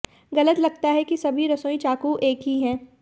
गलत लगता है कि सभी रसोई चाकू एक ही हैं